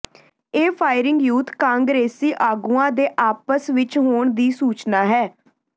ਇਹ firing youth ਕਾਂਗਰਸੀ ਆਗੂਆਂ ਦੇ ਆਪਸ ਵਿਚ ਹੋਣ ਦੀ ਸੂਚਨਾ ਹੈ